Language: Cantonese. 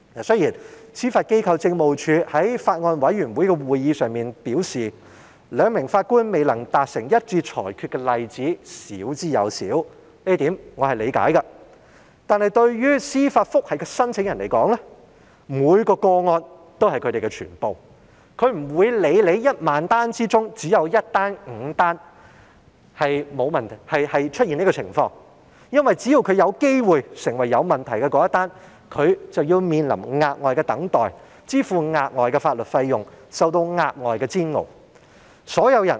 雖然，司法機構政務處在法案委員會的會議上表示，兩名法官未能達成一致裁決的例子少之又少，這一點我是理解的，但對司法覆核申請人而言，每宗個案也是他們的全部，他們不會理會在1萬宗個案中，只有1宗或5宗出現上述情況，因為只要他有機會成為出現問題的一宗，他便要面臨額外等待時間，支付額外法律費用，受到額外的煎熬。